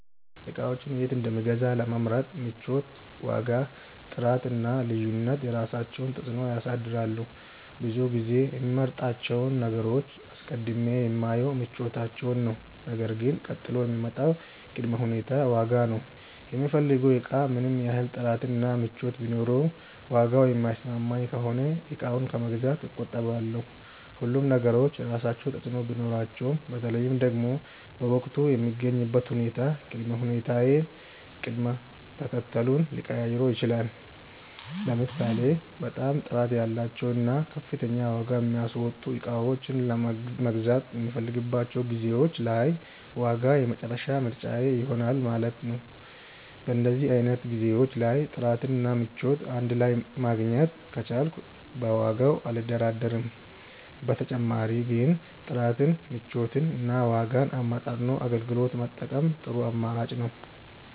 እቃዎችን የት እንደምገዛ ለመምረጥ ምቾት፣ ዋጋ፣ ጥራት እና ልዩነት የራሳቸውን ተፅዕኖ ያሳድራሉ። ብዙ ጊዜ የምመርጣቸውን ነገሮች አስቀድሜ የማየው ምቾታቸውን ነው ነገር ግን ቀጥሎ የሚመጣው ቅድመ ሁኔታ ዋጋ ነው። የምፈልገው እቃ ምንም ያህል ጥራት እና ምቾት ቢኖረውም ዋጋው የማይስማማኝ ከሆነ እቃውን ከመግዛት እቆጠባለሁ። ሁሉም ነገሮች የየራሳቸው ተፅእኖ ቢኖራቸውም በተለይ ደግሞ በወቅቱ የምገኝበት ሁኔታ ቅድመ ሁኔታዬን ቅደም ተከተሉን ሊቀያይረው ይችላል። ለምሳሌ በጣም ጥራት ያላቸውን እና ከፍተኛ ዋጋ የሚያስወጡ እቃዎችን መግዛት የምፈልግባቸው ጊዜዎች ላይ ዋጋ የመጨረሻ ምርጫዬ ይሆናል ማለት ነው። በእንደዚህ አይነት ጊዜዎች ላይ ጥራት እና ምቾት እንድ ላይ ማግኘት ከቻልኩ በዋጋው አልደራደርም። በተጨማሪ ግን ጥራትን፣ ምቾትን እና ዋጋን አመጣጥኖ አገልግሎት መጠቀም ጥሩ አማራጭ ነው።